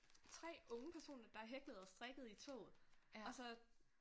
3 unge personer der hæklede og strikkede i toget og så